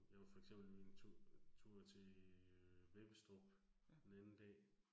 Jeg var for eksempel en tur tur til Vebbestrup den anden dag